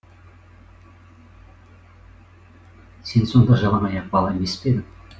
сен сонда жалаңаяқ бала емес пе едің